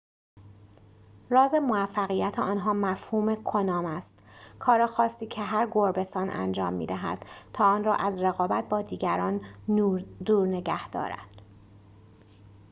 راز موفقیت آنها مفهوم کنام است کار خاصی که هر گربه‌سان انجام می‌دهد تا آن را از رقابت با دیگران دور نگه دارد